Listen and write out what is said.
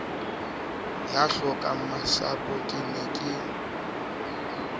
ya hlokangmasapo ke ne ke